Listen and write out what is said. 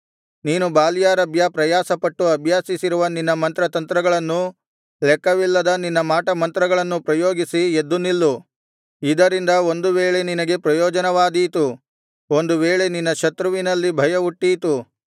ನೀನು ಬಾಲ್ಯಾರಭ್ಯ ಪ್ರಯಾಸಪಟ್ಟು ಅಭ್ಯಾಸಿಸಿರುವ ನಿನ್ನ ಮಂತ್ರತಂತ್ರಗಳನ್ನೂ ಲೆಕ್ಕವಿಲ್ಲದ ನಿನ್ನ ಮಾಟಮಂತ್ರಗಳನ್ನೂ ಪ್ರಯೋಗಿಸಿ ಎದ್ದು ನಿಲ್ಲು ಇದರಿಂದ ಒಂದು ವೇಳೆ ನಿನಗೆ ಪ್ರಯೋಜನವಾದೀತು ಒಂದು ವೇಳೆ ನಿನ್ನ ಶತ್ರುವಿನಲ್ಲಿ ಭಯ ಹುಟ್ಟೀತು